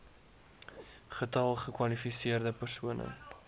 getal gekwalifiseerde persone